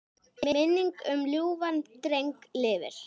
Minning um ljúfan dreng lifir.